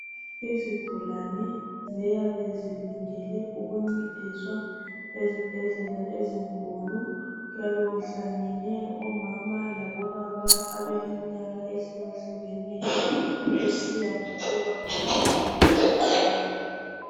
Izigulane ziyabe zilindele ukuncediswa ezibhedlela ezinkulu. Kuyabe kuhlangene omama labobaba abaleminyaka ehlukahlukaneyo kusiya ngokuba badinga uncedo lwani.